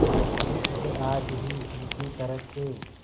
अब आज ही उनकी तरफ से